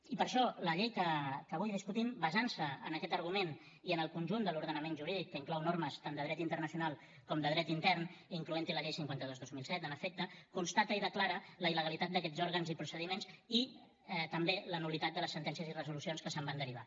i per això la llei que avui discutim basant se en aquest argument i en el conjunt de l’ordenament jurídic que inclou normes tant de dret internacional com de dret intern incloent hi la llei cinquanta dos dos mil set en efecte constata i declara la il·legalitat d’aquests òrgans i procediments i també la nul·litat de les sentències i resolucions que se’n van derivar